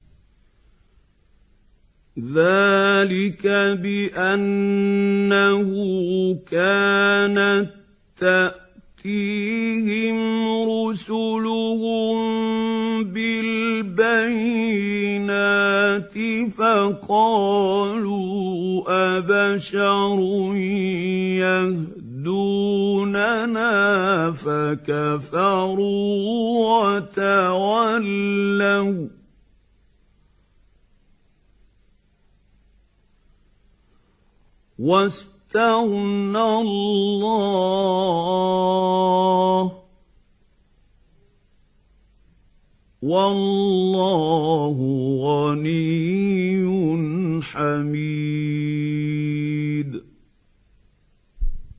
ذَٰلِكَ بِأَنَّهُ كَانَت تَّأْتِيهِمْ رُسُلُهُم بِالْبَيِّنَاتِ فَقَالُوا أَبَشَرٌ يَهْدُونَنَا فَكَفَرُوا وَتَوَلَّوا ۚ وَّاسْتَغْنَى اللَّهُ ۚ وَاللَّهُ غَنِيٌّ حَمِيدٌ